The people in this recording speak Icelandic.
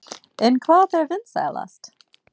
En hvað er vinsælast?